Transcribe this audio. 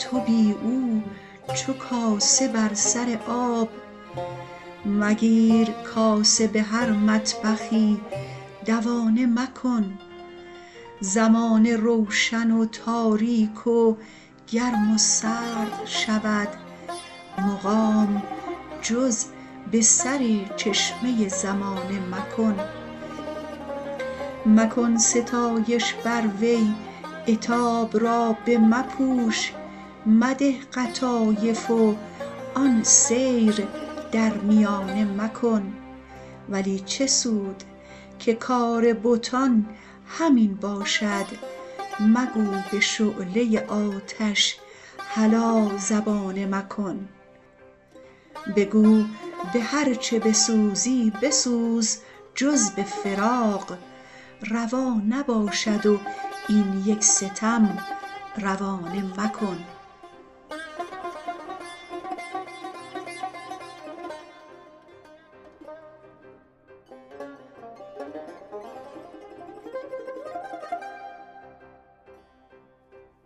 تو بی او چو کاسه بر سر آب مگیر کاسه به هر مطبخی دوانه مکن زمانه روشن و تاریک و گرم و سرد شود مقام جز به سرچشمه زمانه مکن مکن ستایش بر وی عتاب را بمپوش مده قطایف و آن سیر در میانه مکن ولی چه سود که کار بتان همین باشد مگو به شعله آتش هلا زبانه مکن بگو به هرچ بسوزی بسوز جز به فراق روا نباشد و این یک ستم روانه مکن